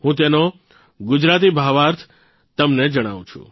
હું તેનો ગુજરાતી ભાવાર્થ તમને જણાવું છું